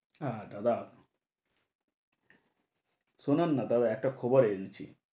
সারাটা দাঁড়ানো, শুনুন না তবে একটা খবর এনেছি।